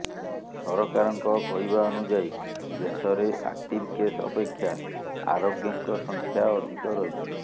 ସରକାରଙ୍କ କହିବା ଅନୁଯାୟୀ ଦେଶରେ ଆକ୍ଟିଭ କେସ୍ ଅପେକ୍ଷା ଆରୋଗ୍ୟଙ୍କ ସଂଖ୍ୟା ଅଧିକ ରହିଛି